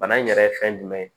Bana in yɛrɛ ye fɛn jumɛn ye